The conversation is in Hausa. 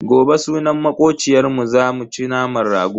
Gobe sunan makociyarmu zamu ci naman rago.